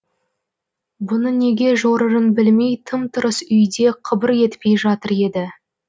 бұны неге жорырын білмей тым тырыс үйде қыбыр етпей жатыр еді